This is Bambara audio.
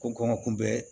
Ko kɔn ka kunbɛ